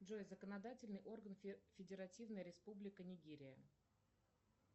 джой законодательный орган федеративная республика нигерия